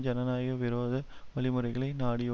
ஜனநாயக விரோத வழிமுறைகளை நாடி